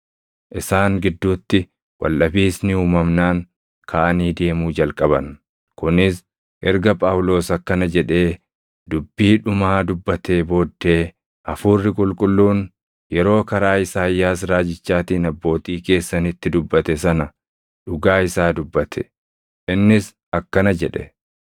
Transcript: Isaan gidduutti waldhabiisni uumamnaan kaʼanii deemuu jalqaban; kunis erga Phaawulos akkana jedhee dubbii dhumaa dubbatee booddee; “Hafuurri Qulqulluun yeroo karaa Isaayyaas raajichaatiin abbootii keessanitti dubbate sana dhugaa isaa dubbate; innis akkana jedhe: